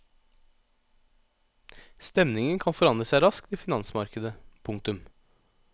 Stemningen kan forandre seg raskt i finansmarkedet. punktum